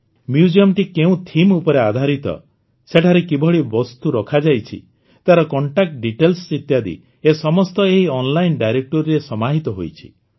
Museumଟି କେଉଁ ଥିମ୍ ଉପରେ ଆଧାରିତ ସେଠାରେ କିଭଳି ବସ୍ତୁ ରଖାଯାଇଛି ତାର କଣ୍ଟାକ୍ଟ ଡିଟେଲ୍ସ ଇତ୍ୟାଦି ଏ ସମସ୍ତ ଏହି ଅନଲାଇନ ଡିରେକ୍ଟୋରୀ ରେ ସମାହିତ ହୋଇଛି